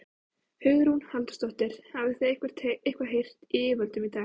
Hugrún Halldórsdóttir: Hafið þið eitthvað heyrt í yfirvöldum í dag?